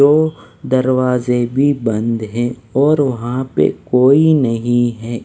तो दरवाज़े भी बंद हैं और वहाँ पे कोई नहीं है।